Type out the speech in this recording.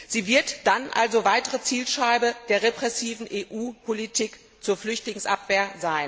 Sie wird dann also zu einer weiteren Zielscheibe der repressiven EU Politik zur Flüchtlingsabwehr.